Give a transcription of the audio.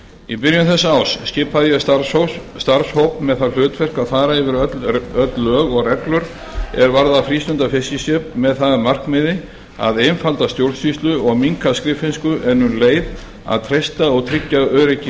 í byrjun þessa árs skipaði ég starfshóp með það hlutverk að fara yfir öll lög og reglur er varða frístundafiskiskip með það að markmiði að einfalda stjórnsýslu og minnka skriffinnsku en um leið að treysta og tryggja öryggi